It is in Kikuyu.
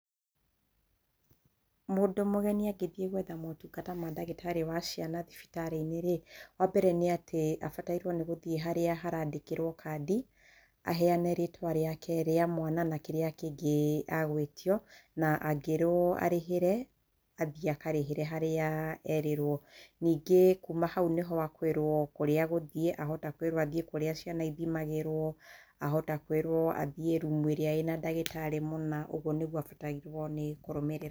Mũndũ mũgeni angĩthiĩ gwetha motungata ma ndagĩtarĩ wa ciana thibitari-inĩ, wambere nĩ atĩ, abatarwo nĩgũthia harĩa harandĩkĩrwo kandi, ahenyane rĩtwa rĩake, rĩa mwana na kĩrĩa kĩngĩ agwĩtio na angĩrwo arĩhĩre, athiĩ akarĩhe harĩa erĩrwo, nĩngĩ kuma hau nĩ ho akwĩrwo harĩa egũthiĩ, hahota kwĩrwo athiĩ kũrĩa ciana ithimagĩrwo ahota kwĩrwo athiĩ room ĩrĩa ĩna ndagĩtarĩ mũna, ũguo nĩguo abatarwo nĩkũrũmĩrĩra.